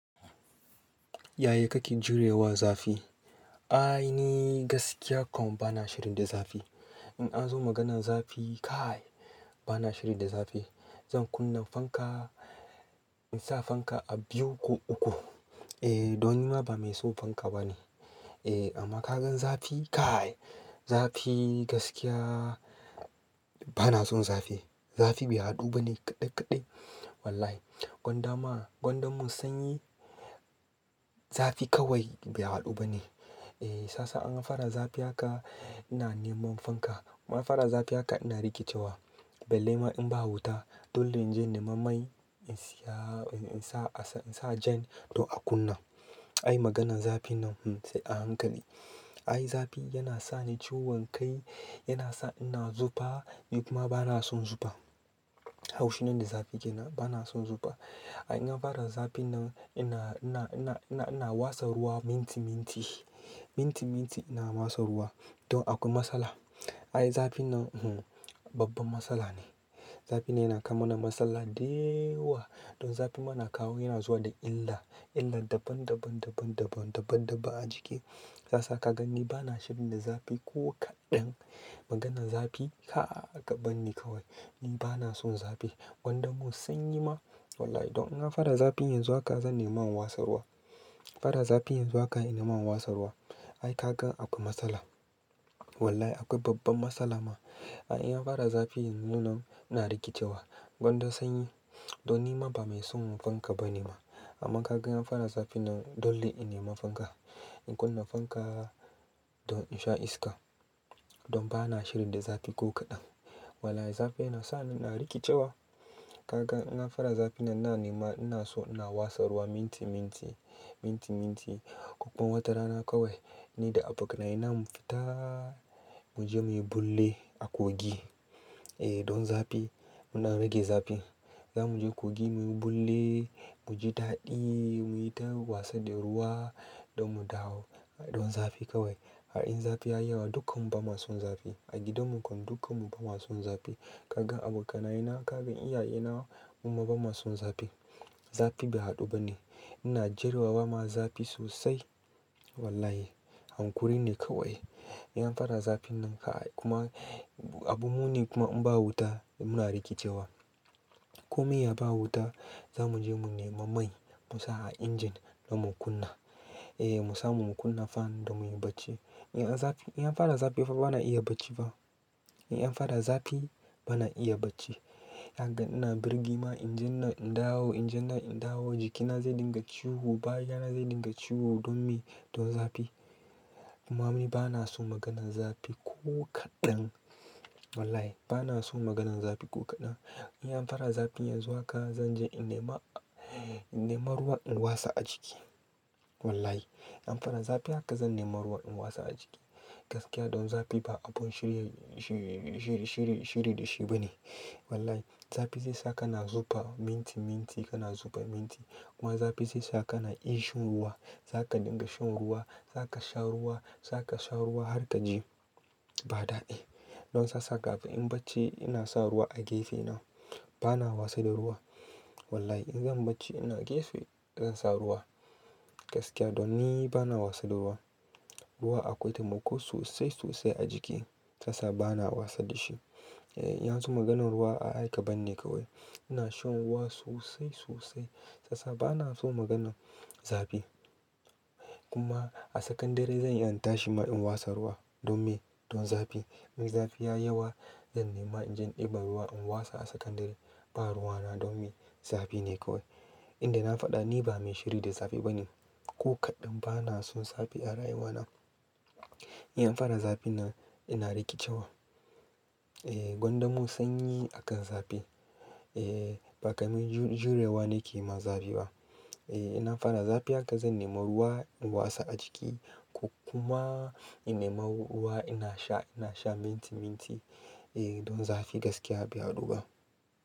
Yaya kaken jurewa zafi? Ai ni gaskiya kom bana shiri da zafi. In an zo maganan zafi kaai, bana shiri da zafi. Zan kunna fanka, in sa fanka a biyu ko uku. Eh, don nima ba mai so fanka bane. Eh, amma ka gan zafi kaai, zafi gaskiya bana son zafi. Zafi bai haɗu bane kaɗai-kaɗai. Wallahi. Gwanda ma, gwanda mun sanyi, zafi kawai bai haɗu bane. Eh, shasa in a fara zafi haka ina neman fanka. In an fara zafi haka ina rikicewa. Belle ma in ba wuta, dole in je nema mai in siya-- in sa a sa-- in sa a jan don a kunna. Ai maganan zafi nan, hmmm sai a hankali. Ai zafi yana sa ni ciwon kai, yana sa ina zufa, kuma bana son zufa. Haushi na da zafi ke nan bana son zufa. Ai an fara zafi nan ina, ina, ina, ina, ina wasa ruwa minti, minti. Minti, minti ina wasa ruwa. Don akwai matsala. Ai zafi nan hmmm babban matsala ne. Zafi ne yana kawo mana matsala dewa. Don zafin mana kawo yana zuwa da illa. Illa daban, daban, daban, daban, daban, daban a jiki. Sasa kaga ni bana shiri da zafi ko kaɗan. Maganan zafi ka'a kaban ni kawai. Ni bana son zafi. Gwanda mun sanyi ma. Wallahi don in an fara zafi yanzu haka zan nema watsa ruwa. Fara zafi yanzu haka ina nema wasa ruwa. Ai ka gan akwai matsala. Wallahi akwai babban matsala ma. Ai in an fara zafi yanzu nan ina rikicewa. Gwanda sanyi. Don nima ba mai son fanka ba ne ma. Amma ka gan an fara zafi nan, dole in nema fanka. In kunna fanka don in sha iska. Don bana shiri da zafi ko kaɗan. Wallahi zafi yana sa ni ina rikicewa. Kaga in an fara zafi nan na nema ina so ina wasta ruwa minti, minti. Minti, minti. Kokon watarana kawai, ni da abokanaye namu fita muje muyi bulle a kogii. Eh, don zafi muna rage zafi. Zamuje kogii muyi bulle, muji daɗii, muyi ta wasa da ruwa don mu dawo. Don zafi kawai. Ai in zafi ya yi yawa dukkanmu ba ma son zafi. A gidanmu kwana dukkanmu ba ma son zafi. Kaga abokanayena, kaga iyayena, mu ma ba ma son zafi. Zafi bai haɗu bane. Ina jerewa ba ma zafi sosai. Wallahi. Hanƙuri ne kawai. In an fara zafi nan kaai kuma abu muni kuma in ba wuta muna rikicewa. Ko me ya ba wuta zamuje mu nema mai mu sa a injin don mu kunna. Eh mu samu mu kunna fan don muyi bacci. In an zafi-- in an fara zafi fa bana iya bacci ba. In an fara zafi bana iya bacci. Kaga ina birgima injin na in dawo, injin na in dawo jikina zai dinga ciwo, baya na zai dinga ciwo don me? Don zafi. Kuma ni bana so maganan zafi ko kaɗan. Wallahi bana so maganan zafi ko kaɗan. In an fara zafi yanzu haka zan je in nema, in nema ruwa in watsa a jiki. Wallahi. An fara zafi haka zan nema ruwa in wasa a jiki. Gaskiya don zafi ba abun shiri, shiri, shiri, shiri da shi ba ne. Wallahi. Zafi zai sa ka na zufa minti, minti kana zufa minti. Kuma zafi zai sa kana ƙin shan ruwa. Za ka dinga shan ruwa, za ka sha ruwa, za ka sha ruwa har ka ji ba daɗi. Don sasa kafin bacci ina sa ruwa a gefe na. Bana wasa da ruwa. Wallahi in zan bacci ina gefe zan sa ruwa. Gaskiya don ni bana wasa da ruwa. Ruwa akwai taimako sosai, sosai a jiki. Sasa bana wasa da shi. Eh, in an zo maganan ruwa a'a kaban ni kawai. Ina shan ruwa sosai, sosai. Sasa bana so maganan zafi. Kuma a tsakan dare zan yi in tashi ma in wasa ruwa don me? Don zafi. In zafi ya yi yawa zan nema injin ɗin ban ruwa in wasa a tsakan dare. Ba ruwa na don me? Zafi ne kawai. Inda na faɗa ni ba mai shiri da zafi bane. Ko kaɗan bana son zafi a rayuwa na. In an fara zafi nan ina rikicewa. Eh, gwanda mun sanyi akan zafi. Eh, ba kai mai jurewa ne ke ma zafi ba. Eh, in an fara zafi haka zan nema ruwa in watsa a jiki ko kuma in nema ruwa ina sha, ina sha minti, minti. Eh, don zafi gaskiya bai haɗu ba.